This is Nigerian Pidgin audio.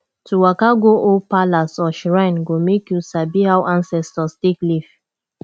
to waka go old palace or shrine go make you sabi how ancestors take live